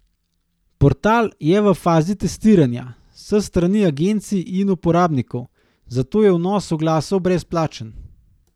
Portal je v fazi testiranja s strani agencij in uporabnikov, zato je vnos oglasov brezplačen.